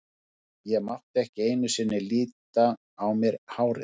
Ég meina, ég mátti ekki einu sinni lita á mér hárið.